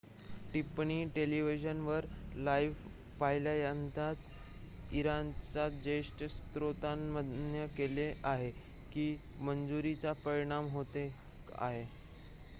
टिप्पणी टेलिव्हिजनवर लाइव्ह पहिल्यांदाच इराणच्या ज्येष्ठ स्त्रोतांनी मान्य केले आहे की मंजुरीचा परिणाम होत आहे